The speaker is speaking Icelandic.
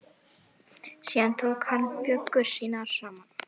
Síðan tók hann föggur sínar saman.